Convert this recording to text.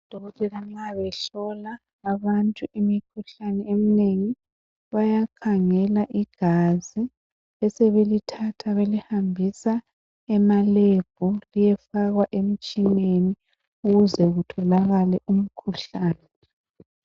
Odokotela nxa behlola abantu imikhuhlane eminengi bayakhangela igazi besebelithatha belihambisa ema lebhu liyefakwa emitshineni ukuze kutholakale umkhuhlane.